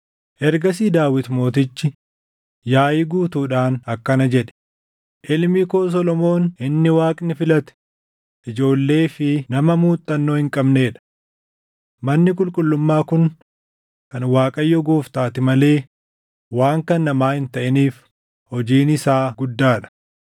Ergasii Daawit mootichi yaaʼii guutuudhaan akkana jedhe; “Ilmi koo Solomoon inni Waaqni filate ijoollee fi nama muuxannoo hin qabnee dha. Manni qulqullummaa kun kan Waaqayyo Gooftaati malee waan kan namaa hin taʼiniif hojiin isaa guddaa dha.